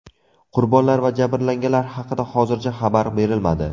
Qurbonlar va jabrlanganlar haqida hozircha xabar berilmadi.